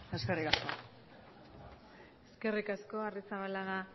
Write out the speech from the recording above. eskerrik asko eskerrik asko arrizabalaga